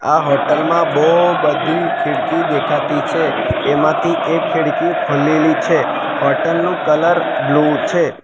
આ હોટલ માં બો બધી ખીડકી દેખાતી છે એમાંથી એક ખિડકી ખુલેલી છે હોટલ નું કલર બ્લુ છે.